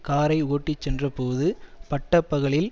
காரை ஓட்டிச் சென்றபோது பட்ட பகலில்